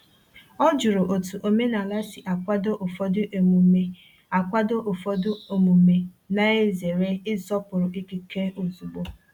O jụrụ otu omenala si akwado ụfọdụ omume, akwado ụfọdụ omume, na-ezere ịsọpụrụ ikike ozugbo.